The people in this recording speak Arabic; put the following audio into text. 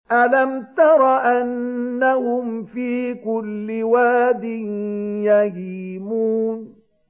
أَلَمْ تَرَ أَنَّهُمْ فِي كُلِّ وَادٍ يَهِيمُونَ